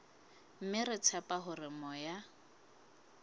mme re tshepa hore moya